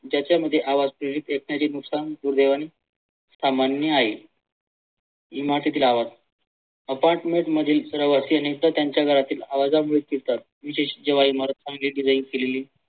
ज्याच्या मध्ये आवाज येत नाही ते सामान्य आहे. इमारतीतील आवाज apartment मधील रहिवाशी आणि त्यांच्या घरातील आवाजानं विशेष जेव्हा इमारत